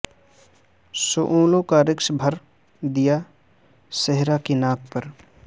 شعلوں کا رقص بھر دیا صحرا کی ناک پر